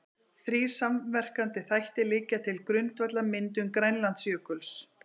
Þrír samverkandi þættir liggja til grundvallar myndun Grænlandsjökuls.